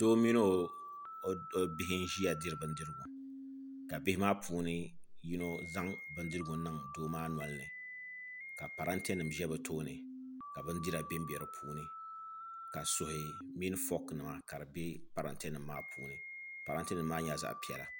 Doo mini o bihi n-ʒiya diri bindirigu ka bihi maa puuni yino zaŋ bindirigu n-niŋ doo maa noli ni ka parantenima za bɛ tooni ka bindira bembe di puuni ka suhi mini fɔkinima ka di be paranyenima maa puuni parantenima maa nyɛla zaɣ' piɛla